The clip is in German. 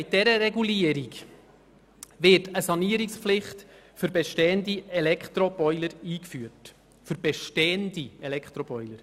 Mit dieser Regulierung wird eine Sanierungspflicht für bestehende Elektroboiler eingeführt, also für bestehende Elektroboiler.